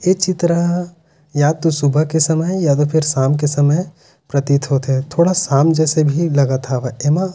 ए चित्र ह या तो सुबह के समय है या तो फिर शाम का समय है प्रतीत होथे थोड़ा शाम जैसे भी लगत हवे एम--